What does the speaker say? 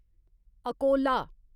Akola